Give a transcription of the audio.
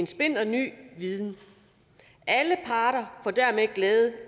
splinterny viden alle parter får dermed glæde